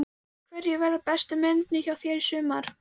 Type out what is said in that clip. Hverjir verða bestu mennirnir hjá þér í sumar?